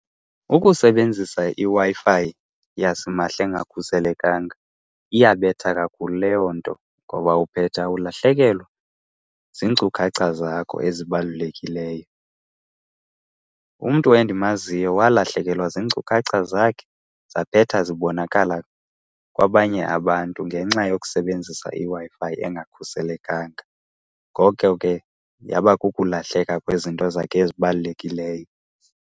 Ukusebenzisa iWi-Fi yasimahla engakhuselekanga iyabetha kakhulu leyo nto ngoba uphetha ulahlekelwa ziinkcukacha zakho ezibalulekileyo. Umntu endimaziyo walahlekelwa ziinkcukacha zakhe zaphetha zibonakala kwabanye abantu ngenxa yokusebenzisa iWi-Fi engakhuselekanga. Ngoko ke yaba kukulahleka kwezinto zakhe ezibalulekileyo.